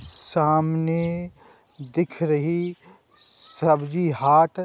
सामने दिख रही सब्जी हाट --